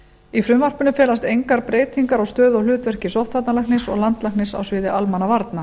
í frumvarpinu felast engar breytingar á stöðu og hlutverki sóttvarnalæknis og landlæknis á sviði almannavarna